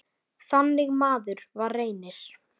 Þannig maður var Reynir.